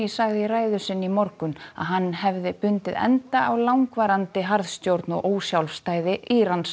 sagði í ræðu sinni í morgun að hann hefði bundið enda á langvarandi harðstjórn og ósjálfstæði Írans